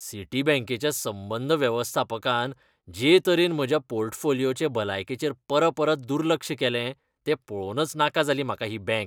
सिटीबँकेच्या संबंद वेवस्थापकान जे तरेन म्हज्या पोर्टफोलिओचे भलायकेचेर परपरत दुर्लक्ष केलें, तें पळोवनच नाका जाली म्हाका ही बँक.